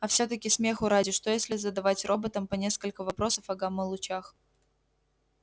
а всё-таки смеху ради что если задавать роботам по нескольку вопросов о гамма-лучах